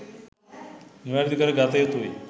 නිවැරදි කර ගතයුතුයි.